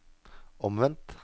omvendt